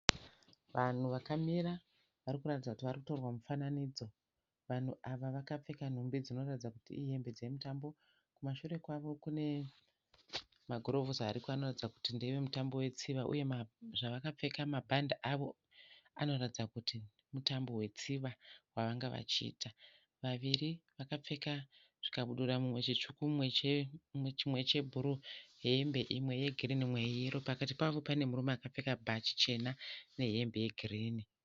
Vanhu vakamira varikuratidza kuti varikutorwa mufananidzo. Vanhu ava vakapfeka nhumbi dzinoratidza kuti ihembe dzemutambo. Kumashure kwavo kune magirovhosi ariko anoratidza kuti ndevemutambo wetsiva uye zvavakapfeka mabhande avo anoratidza kuti mutambo wetsiva wavanga vachiita. Vaviri vakapfeka zvikabudura mumwe chitsvuku mumwe chebhuruu hembe imwe yegirini umwe yeyero. Pakati pavo pane murume akapfeka bhachi chena nehembe yegirini.